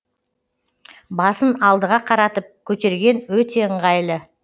басын алдыға қаратып көтерген өте ыңғайлы